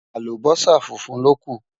àlùbósà fúnfún ló kú